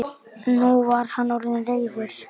Nú var hann orðinn reiður.